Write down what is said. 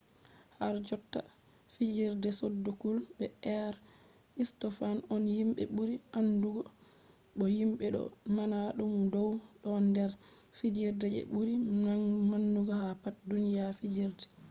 harjotta fijerde sodokuls be aristofans on himɓe ɓuri andugo bo himɓe ɗo mana ɗum dow ɗon nder fijerde je ɓuri mangu ha pat duniya fijerde